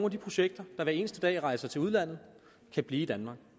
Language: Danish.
af de projekter der hver eneste dag rejser til udlandet kan blive i danmark